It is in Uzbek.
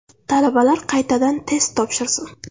Talabalar qaytadan test topshirsin.